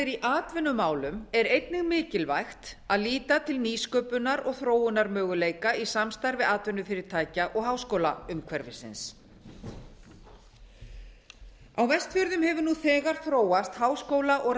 í atvinnumálum er einnig mikilvægt að líta til nýsköpunar og þróunarmöguleika í samstarfi atvinnufyrirtækja og háskólaumhverfisins á vestfjörðum hefur nú þegar þróast háskóla og